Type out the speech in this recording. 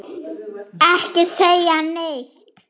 Já, allur var varinn góður!